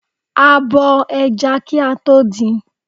A bo ẹja kí a tó din.